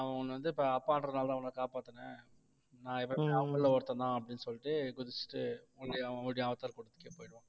நான் உன்னை வந்து இப்ப அப்பான்றதுனாலதான் உன்னை காப்பாத்தினேன் நான் எப்பவுமே அவங்கள்ல ஒருத்தன்தான் அப்படின்னு சொல்லிட்டு குதிச்சிட்டு மறுபடியும் அவன் ஓடி அவதார் கூட்டத்துக்கே போயிடுவான்